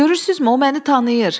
Görürsüzmü, o məni tanıyır.